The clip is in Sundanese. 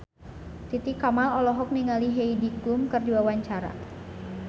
Titi Kamal olohok ningali Heidi Klum keur diwawancara